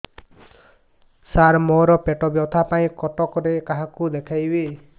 ସାର ମୋ ର ପେଟ ବ୍ୟଥା ପାଇଁ କଟକରେ କାହାକୁ ଦେଖେଇବି